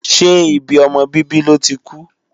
Ṣé ibi ọmọ bíbí lọ́ ti kú?